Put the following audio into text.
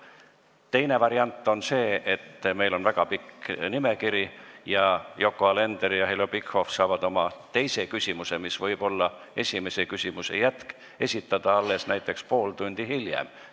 Teine variant on see, et meil on väga pikk nimekiri ja Yoko Alender ja Heljo Pikhof saavad oma teise küsimuse, mis võib olla esimese küsimuse jätk, esitada alles näiteks pool tundi hiljem.